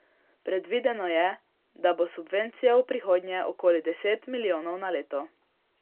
Predvideno je, da bo subvencija v prihodnje okoli deset milijonov na leto.